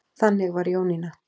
Þannig var Jónína.